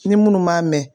Ni minnu m'a mɛn